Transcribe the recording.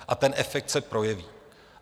A ten efekt se projeví.